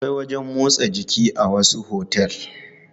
Akwai wajen motsa jiki a wasu otel.